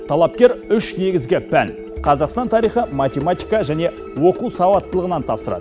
талапкер үш негізгі пән қазақстан тарихы математика және оқу сауаттылығынан тапсырады